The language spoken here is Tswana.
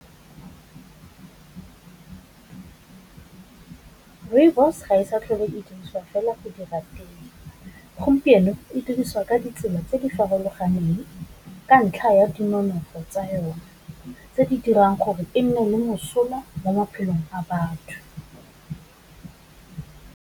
Rooibos ga e sa tlhole e diriswa fela go dira tee, gompieno e dirisiwa ka ditsela tse di farologaneng, ka ntlha ya dinonofo tsa yone, tse di dirang gore e nne le mosola mo maphelong a batho.